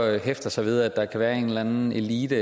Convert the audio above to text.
hæfter sig ved at der kan være en eller anden elite